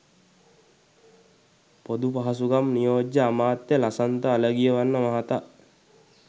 පොදු පහසුකම් නියෝජ්‍ය අමාත්‍ය ලසන්ත අලගියවන්න මහතා